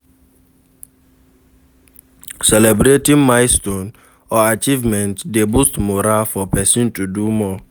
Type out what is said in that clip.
Celebrating milestone or achievement de boost morale for persin to do more